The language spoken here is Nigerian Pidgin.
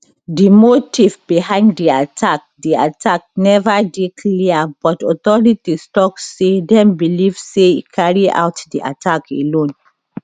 di motive behind di attack di attack neva dey clear but authorities tok say dem believe say e carry out di attack alone